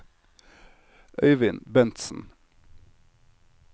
Øyvind Bentsen